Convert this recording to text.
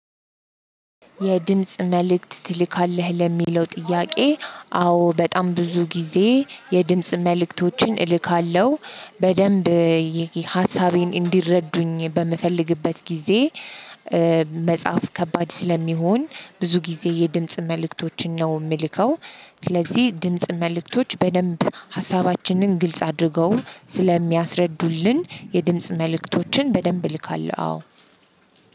የድምጽ መልእክት ትልካለህ? ለሚለው ጥያቄ አዎ በጣም ብዙ ጊዜ የድምጽ መልእክቶችን እልካለሁ በደንብ ሀሳቤን እንዲረዱኝ በምፈልግበት ጊዜ መጻፍ ከባድ ስለሚሆን ብዙ ጊዜ የድምጽ መልእክቶችን ነው የምልከው። ስለዚህ ድምጽ መልእክቶች በደንብ ሀሳባችንን ግልጽ አድርገው ስለሚያስረዱልን የድምጽ መልእክቶችን በደንብ እልካለሁ። አዎ